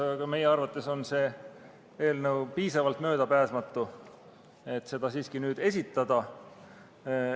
Aga meie arvates on see eelnõu piisavalt möödapääsmatu, et seda siiski nüüd esitleda.